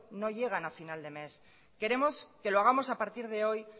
no llegan a final de mes queremos